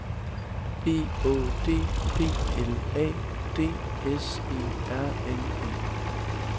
B Å D P L A D S E R N E